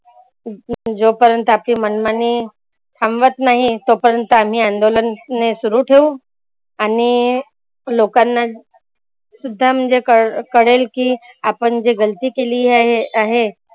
जो पर्यंत आपली मनमानी थांबवत नाही तो पर्यंत आम्ही आंदोलन सुरू ठेवू. आणि लोकांना सुद्धा म्हणजे खळ कळेल की आपण जे गलती केली आहै आहे.